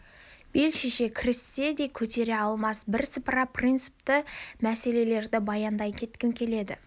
бел шеше кіріссе де көтере алмас бірсыпыра принципті мәселелерді баяндай кеткім келеді